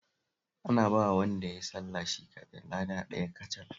Ana bawa wanda ya yi sallah shi kaɗai kada ɗaya kacal